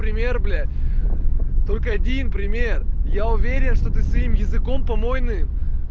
пример блять только один пример я уверен что ты своим языком помойным